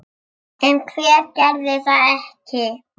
En hver gerði það ekki?